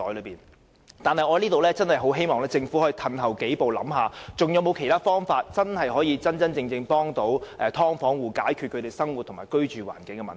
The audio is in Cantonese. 不過，我在此真的很希望政府可以退後想一想，還有沒有其他方法可以真正幫助"劏房戶"解決生活和居住環境的問題。